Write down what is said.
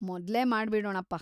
ಮೊದ್ಲೇ ಮಾಡ್ಬಿಡೋಣಪ್ಪ.